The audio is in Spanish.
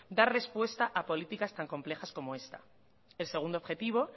dar respuesta a políticas tan complejas como esta el segundo objetivo